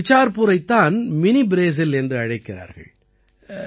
இந்த பிசார்புரைத் தான் மினி ப்ரேசில் என்று அழைக்கிறார்கள்